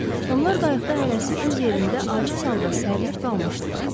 Onlar qayıqda hərəsi öz yerində aciz halda sərilip qalmışdılar.